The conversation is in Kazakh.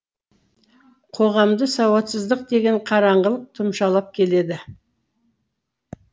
қоғамды сауатсыздық деген қараңғылық тұмшалап келеді